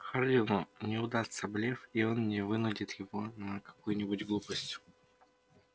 хардину не удастся блеф и он не вынудит его на какую-нибудь глупость